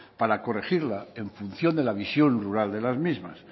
para corregirla en función de la visión rural de las mismas